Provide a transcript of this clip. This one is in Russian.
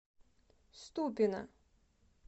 ступино